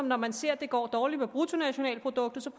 når man ser det går dårligt med bruttonationalproduktet